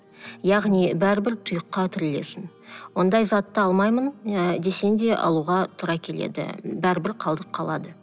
яғни бәрбір тұйыққа тірелесің ондай затты алмаймын ы десең де алуға тура келеді бәрібір қалдық қалады